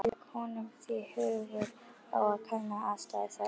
Lék honum því hugur á að kanna aðstæður þar allar.